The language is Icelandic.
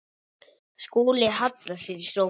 Skúli hallar sér í sófann.